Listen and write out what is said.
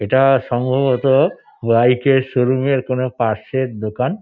এটা সম্ভবত বাইক -এর শোরুম এর কোন পার্টস -এর দোকান।